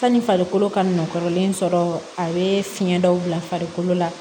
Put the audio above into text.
Sanni farikolo ka nɔgɔnlen sɔrɔ a bɛ fiɲɛ dɔw bila farikolo la